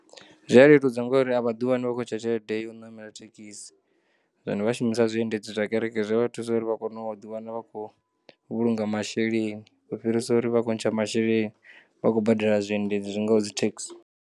Zwi a leludza ngauri a vhaḓiwani vha khontsha tshelede yo namela thekisi kana vha shumisa zwiendedzi zwa kereke, zwi vha thusa uri vhakone u ḓiwana vhakho vhulunga masheleni u fhirisa uvha vha khontsha masheleni vhakho badela zwi endedzi zwingaho dzitheksi.